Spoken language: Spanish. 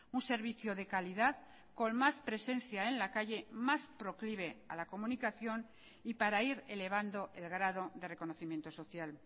un servicio de calidad con más presencia en la calle más proclive a la comunicación y para ir elevando el grado de reconocimiento social